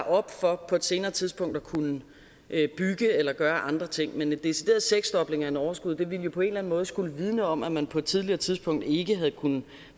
op for på et senere tidspunkt at kunne bygge eller gøre andre ting men en decideret seksdobling af et overskud ville jo på en eller anden måde skulle vidne om at man på et tidligere tidspunkt ikke havde kunnet